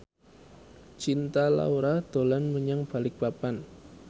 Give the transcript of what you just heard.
Cinta Laura dolan menyang Balikpapan